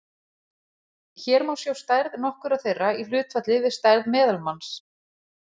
Hér má sjá stærð nokkurra þeirra í hlutfalli við stærð meðalmanns.